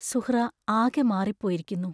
സുഹ്റാ ആകെ മാറിപ്പോയിരിക്കുന്നു.